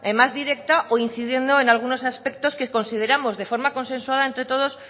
más directa o incidiendo en algunos aspectos que consideramos de forma consensuada entre todos